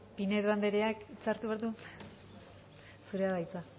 pinedo andereak hitz hartu behar du zurea da hitza